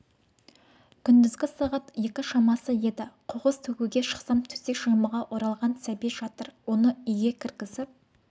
күндізгі сағат екі шамасы еді қоқыс төгуге шықсам төсек жаймаға оралған сәби жатыр оны үйге кіргізіп